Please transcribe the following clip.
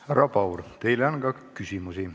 Härra Paur, teile on ka küsimusi.